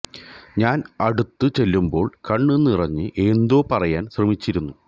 ഞാന് അടുത്ത് ചെല്ലുമ്പോള് കണ്ണ് നിറഞ്ഞ് എന്തോ പറയാന് ശ്രമിച്ചിരുന്നു